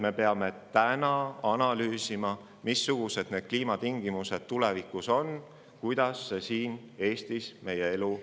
Me peame praegu analüüsima, missugused on kliimatingimused tulevikus ja kuidas need meie elu Eestis mõjutama hakkavad.